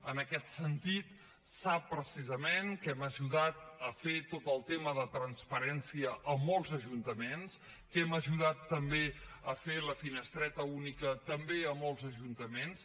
en aquest sentit sap precisament que hem ajudat a fer tot el tema de transparència a molts ajuntaments que hem ajudat també a fer la finestreta única també a molts ajuntaments